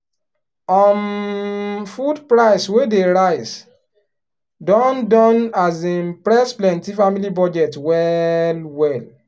um food price wey dey rise don don um press plenty family budget well well.